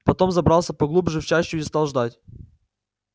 потом забрался поглубже в чащу и стал ждать